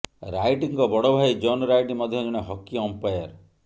ରାଇଟ୍ଙ୍କ ବଡ଼ ଭାଇ John Wright ମଧ୍ୟ ଜଣେ ହକି ଅମ୍ପାୟାର